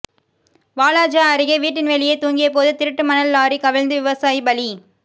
வாலாஜா அருேக வீட்டின் வெளியே தூங்கிய போது திருட்டு மணல் லாரி கவிழ்ந்து விவசாயி பலி